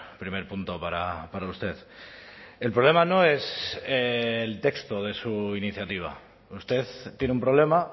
primer punto para usted el problema no es el texto de su iniciativa usted tiene un problema